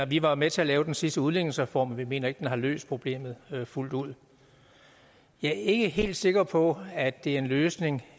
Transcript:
vi var med til at lave den sidste udligningsreform men vi mener ikke den har løst problemet fuldt ud jeg er ikke helt sikker på at det er en løsning